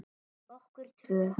Fyrir okkur tvö.